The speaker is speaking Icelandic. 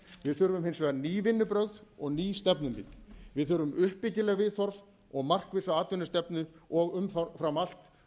við þurfum hins vegar nú vinnubrögð og ný stefnumið við þurfum uppbyggileg viðhorf og markvissa atvinnustefnu og umfram allt